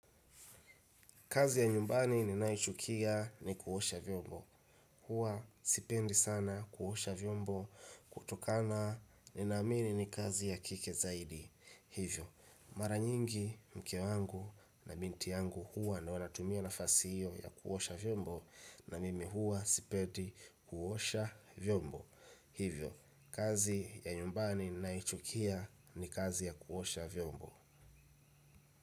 Kazi ya nyumbani ninaichukia ni kuosha vyombo. Huwa sipendi sana kuosha vyombo kutokana nina amini ni kazi ya kike zaidi. Hivyo, mara nyingi mke wangu na binti yangu huwa ndio wanatumia nafasi hiyo ya kuosha vyombo na mimi huwa sipendi kuosha vyombo. Hivyo, kazi ya nyumbani ninaichukia ni kazi ya kuosha vyombo.